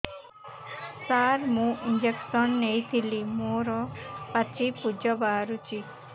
ସାର ମୁଁ ଇଂଜେକସନ ନେଇଥିଲି ମୋରୋ ପାଚି ପୂଜ ବାହାରୁଚି